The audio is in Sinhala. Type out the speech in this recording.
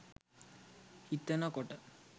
හිතන කොට